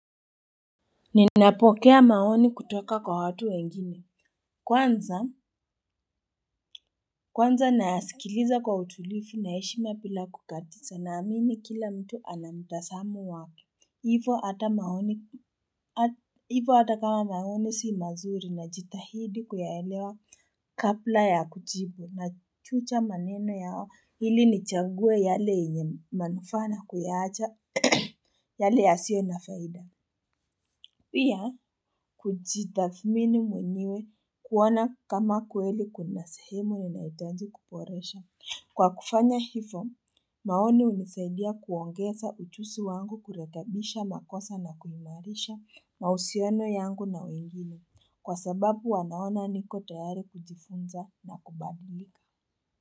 Ninapokea maoni kutoka kwa watu wengine. Kwanza kwanza nasikiliza kwa utulivu na heshima bila kukatiza. Naamini kila mtu ana mutazamo wangu. Hivo hata maoni hivo hata kama maoni si mazuri najitahidi kuyaelewa kabla ya kujbu. Nachuja maneno yao ili nichangue yale yenye manufaa na kuyaacha yale yasio na faida. Pia, kujitathmini mwenyewe kuona kama kweli kuna sehemu inaitaji kuboresha. Kwa kufanya hivo, maoni hunisaidia kuongeza ujuzi wangu, kurekabisha makosa na kuimarisha mahusiano yangu na wengine. Kwa sababu wanaona niko tayari kujifunza na kubadilika.